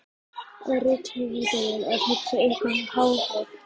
Er rithöfundurinn að hugsa eitthvað háfleygt?